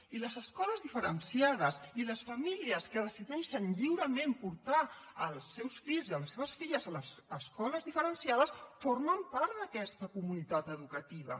i les escoles diferenciades i les famílies que decideixen lliurement portar els seus fills i les seves filles a les escoles diferenciades formen part d’aquesta comunitat educativa